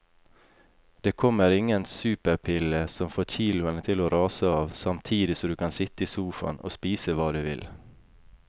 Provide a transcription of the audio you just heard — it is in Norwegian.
Det kommer ingen superpille som får kiloene til å rase av samtidig som du kan sitte i sofaen og spise hva du vil.